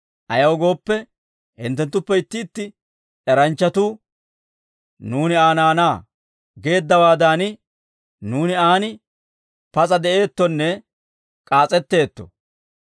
Ayaw gooppe, hinttenttuppe itti itti eranchchatuu, ‹Nuuni Aa naanaa› geeddawaadan, nuuni aan pas'a de'eettonne k'aas'etteetto.